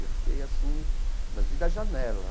E eu fiquei assim, mas vi da janela.